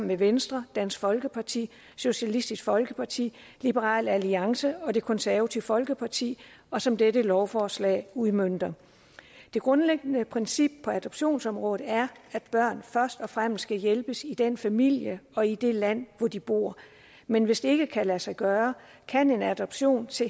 med venstre dansk folkeparti socialistisk folkeparti liberal alliance og det konservative folkeparti og som dette lovforslag udmønter det grundlæggende princip på adoptionsområdet er at børn først og fremmest skal hjælpes i den familie og i det land hvor de bor men hvis det ikke kan lade sig gøre kan en adoption til